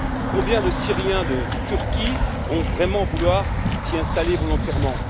Combien de Syriens de Turquie vont vraiment vouloir s'y installer volontairement?